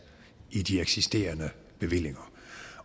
i de eksisterende bevillinger